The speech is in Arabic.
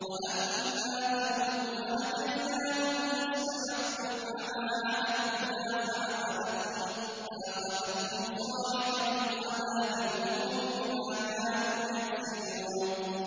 وَأَمَّا ثَمُودُ فَهَدَيْنَاهُمْ فَاسْتَحَبُّوا الْعَمَىٰ عَلَى الْهُدَىٰ فَأَخَذَتْهُمْ صَاعِقَةُ الْعَذَابِ الْهُونِ بِمَا كَانُوا يَكْسِبُونَ